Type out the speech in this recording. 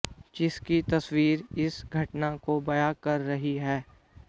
जिसकी तस्वीर इस घटना को बयां कर रही है